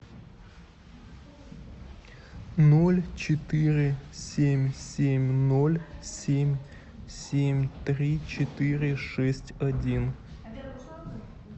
ноль четыре семь семь ноль семь семь три четыре шесть один